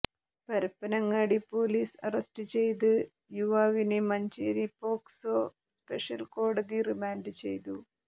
Parappanangadi police arrest ചെയ്ത് യുവാവിനെ Manjeri POCSO special കോടതി റിമാന്റ് ചെയ്തു